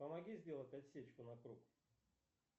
помоги сделать отсечку на круг